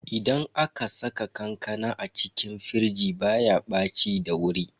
Idan aka saka kankana a cikin firij baya ɓaci da wuri.